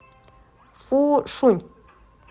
фушунь